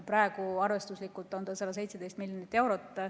Praegu on arvestuslikult see summa 117 miljonit eurot.